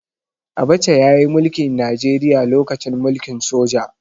Abacha ya yi mulki Najeriya lokacin mulkin soja.